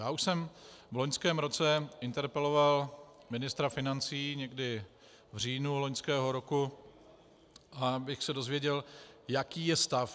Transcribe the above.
Já už jsem v loňském roce interpeloval ministra financí, někdy v říjnu loňského roku, abych se dozvěděl, jaký je stav.